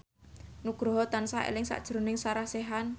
Nugroho tansah eling sakjroning Sarah Sechan